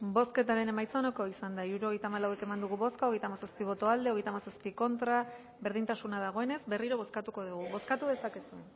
bozketaren emaitza onako izan da hirurogeita hamalau eman dugu bozka hogeita hamazazpi boto aldekoa treinta y siete contra berdintasuna dagoenez berriro bozkatuko dugu bozkatu dezakezue